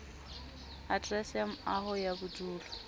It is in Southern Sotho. aterese ya moaho ya bodulo